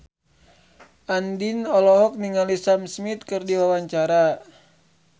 Andien olohok ningali Sam Smith keur diwawancara